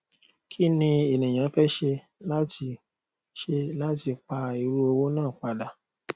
kí ni ènìyàn fe ṣé láti ṣé láti pá irú owó náà pa padà